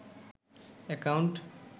account